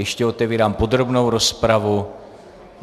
Ještě otevírám podrobnou rozpravu.